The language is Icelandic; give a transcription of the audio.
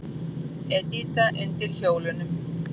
Edita undir hjólunum.